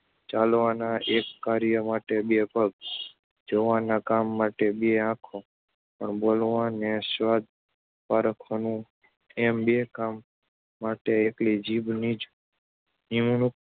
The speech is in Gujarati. ચાલવાના એક કાર્ય માટે બે પગ, જોવાના કામ માટે બે આંખો, પણ બોલવાનું ને સ્વાદ પારખવાનું એમ બે કામ માટે એકલી જીભની જ નિમણૂક